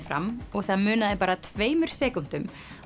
fram og það munaði bara tveimur sekúndum